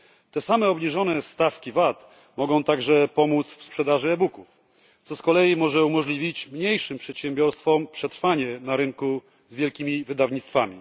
Te same obniżone stawki VAT mogą także pomóc w sprzedaży e booków, co z kolei może umożliwić mniejszym przedsiębiorcom przetrwanie na rynku z wielkimi wydawnictwami.